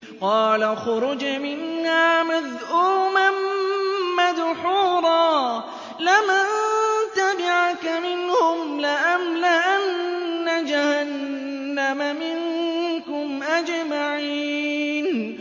قَالَ اخْرُجْ مِنْهَا مَذْءُومًا مَّدْحُورًا ۖ لَّمَن تَبِعَكَ مِنْهُمْ لَأَمْلَأَنَّ جَهَنَّمَ مِنكُمْ أَجْمَعِينَ